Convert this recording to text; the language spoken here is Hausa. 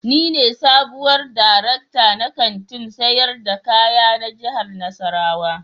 Ni ne sabuwar darekta na Kantin sayar da kaya na jihar nassarawa